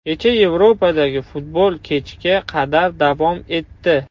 Kecha Yevropadagi futbol kechga qadar davom etdi.